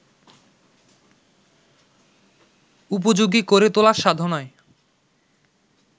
উপযোগী করে তোলার সাধনায়